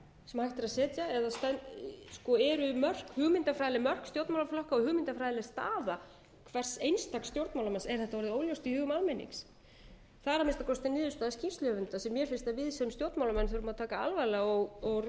sem hægt er að setja eða eru hugmyndafræðileg mörk stjórnmálaflokka og hugmyndafræðileg staða hvers einstaks stjórnmálamanns er þetta orðið óljóst í hugum almennings það er að minnsta kosti niðurstaða skýrsluhöfunda sem mér finnst að við sem stjórnmálamenn þurfum að taka alvarlega og ræða